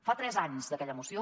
fa tres anys d’aquella moció